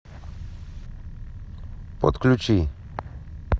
подключи